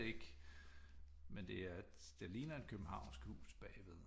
Ikke med det er det ligner et københavnsk hus bagved